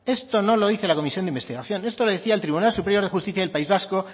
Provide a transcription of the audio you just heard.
esto no lo dice la comisión de investigación esto lo decía el tribunal superior de justicia del país vasco